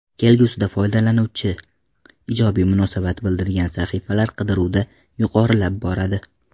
Kelgusida foydalanuvchi ijobiy munosabat bildirgan sahifalar qidiruvda yuqorilab boradi.